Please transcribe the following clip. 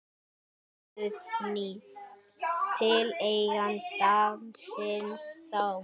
Guðný: Til eigenda sinna þá?